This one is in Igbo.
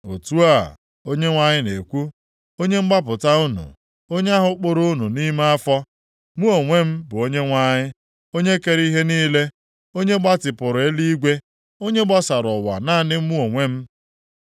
“Otu a, Onyenwe anyị na-ekwu, Onye mgbapụta unu, onye ahụ kpụrụ unu nʼime afọ: Mụ onwe bụ Onyenwe anyị, Onye kere ihe niile, onye gbatipụrụ eluigwe, onye gbasara ụwa naanị mụ onwe m,